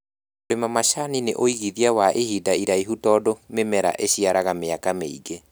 Kũrĩma macani nĩ uigithia wa ihinda rĩraihu tondũ mĩmera ĩciaraga mĩaka mĩingĩ